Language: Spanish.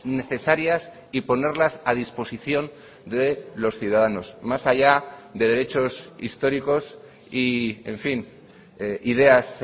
necesarias y ponerlas a disposición de los ciudadanos más allá de derechos históricos y en fin ideas